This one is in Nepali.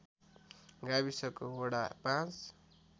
गाविसको वडा ५